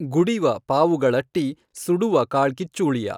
ಗುಡಿವ ಪಾವುಗಳಟ್ಟಿ ಸುಡುವ ಕಾಳ್ಕಿಚ್ಚುಳಿಯ।